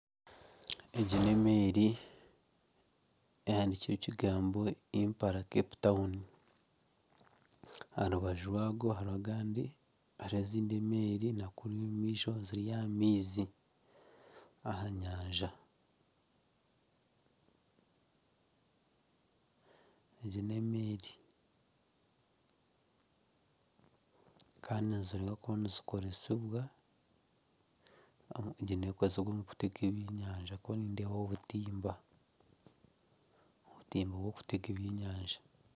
Egi n'emeeri ehandikiirweho ekigambo "IMPALA CAPE TOWN" aha rubaju hariho ezindi emeeri na kunu omu maisho ziri aha maizi aha nyanja, kandi ziriyo nizikoresibwa kutega eby'enyanja ahabwokuba nindeebaho obutimba, obutimba bw'okutega ebyenyanja